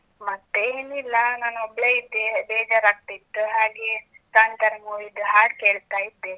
ಮತ್ತೇ ಏನ್ ಇಲ್ಲ. ನಾನ್ ಒಬ್ಬಳೇ ಇದ್ದೆ, ಬೇಜಾರ್ ಆಗ್ತಿತ್. ಹಾಗೇ ಕಾಂತಾರ movie ದು ಹಾಡ್ ಕೇಳ್ತಾ ಇದ್ದೆ.